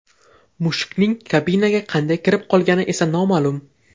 Mushukning kabinaga qanday kirib qolgani esa noma’lum.